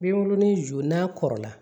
Binkurunin ju n'a kɔrɔla